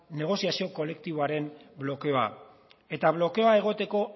negoziazio kolektiboaren blokeoa eta blokeoa egoteko